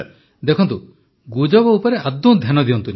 ପ୍ରଧାନମନ୍ତ୍ରୀ ଦେଖନ୍ତୁ ଗୁଜବ ଉପରେ ଆଦୌ ଧ୍ୟାନ ଦିଅନ୍ତୁନି